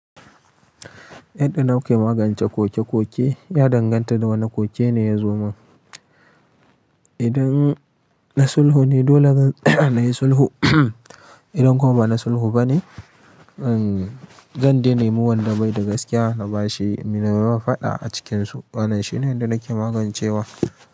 Yadda nake magance koke-koke, ya danganta da wane koke ne ya zo mun. Idan na sulhu ne, dole zan saya nayi sulhu. Idan kuma ba na sulhu ba ne, zan zan dai nemi wanda bai da gaskiya na ba shi, na yi wai faɗa a cikinsu. Wannan shine yadda nake magancewa.